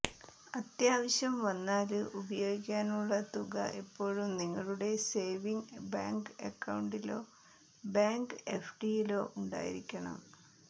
അത്യാവശ്യംവന്നാല് ഉപയോഗിക്കാനുള്ള തുക എപ്പോഴും നിങ്ങളുടെ സേവിങ് ബാങ്ക് അക്കൌണ്ടിലോ ബാങ്ക് എഫ്ഡിയിലോ ഉണ്ടായിരിക്കണം